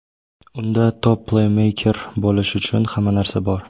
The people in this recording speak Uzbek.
Unda top-pleymeyker bo‘lish uchun hamma narsa bor.